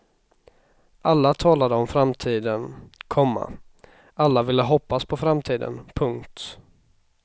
Alla talade om framtiden, komma alla ville hoppas på framtiden. punkt